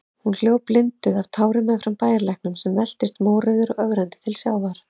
Hún hljóp blinduð af tárum meðfram bæjarlæknum, sem veltist mórauður og ögrandi til sjávar.